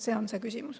See on see küsimus.